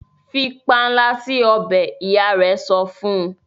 fí panla si ọbẹ! ìyá rẹ sọfún.